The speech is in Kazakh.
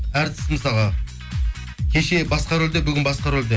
әртіс мысалға кеше басқа рөлде бүгін басқа рөлде